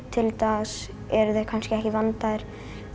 til dags eru þeir kannski ekki vandaðir